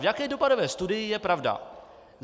V jaké dopadové studii je pravda?